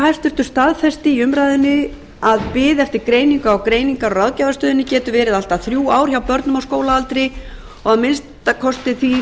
félagsmálaráðherra staðfesti í umræðunni að bið eftir greiningu á greiningar og ráðgjafarstöðinni geti verið allt að þrjú ár hjá börnum á skólaaldri og að minnsta kosti því sem snýr